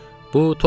Bu toy idi